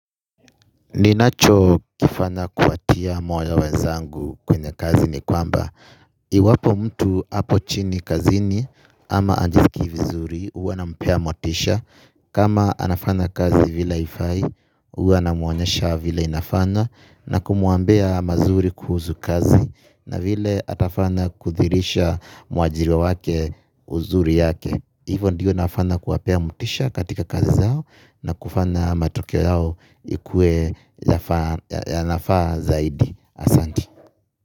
Ninacho kifanya kuwatia moyo wenzangu kwenye kazi ni kwamba Iwapo mtu apochini kazini ama ajisikii vizuri huwa nampea motisha kama anafanya kazi vile haifai huwa namuonyesha vile inafanywa. Na kumuambia mazuri kuhuzu kazi na vile atafanya kuridhisha muajiri wake uzuri yake Hivo ndiyo nafanya kuwapea motisha katika kazi zao na kufanya matokeo yao ikue nafaa zaidi asanti.